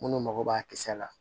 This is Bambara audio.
Minnu mago b'a kisɛ la